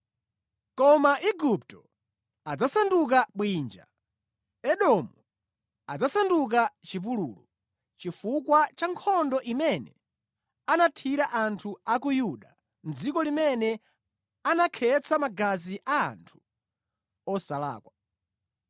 Koma Igupto adzasanduka bwinja, Edomu adzasanduka chipululu, chifukwa cha nkhondo imene anathira anthu a ku Yuda mʼdziko limene anakhetsa magazi a anthu osalakwa.